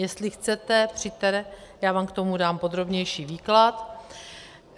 Jestli chcete, přijďte, já vám k tomu dám podrobnější výklad.